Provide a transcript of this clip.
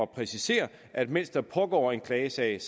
præcisere at mens der pågår en klagesag